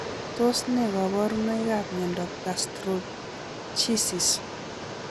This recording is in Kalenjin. Tos ne kaborunoikap miondop Gastroschisis